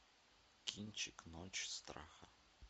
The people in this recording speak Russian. кинчик ночь страха